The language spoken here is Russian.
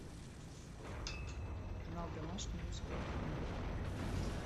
канал домашний русское кино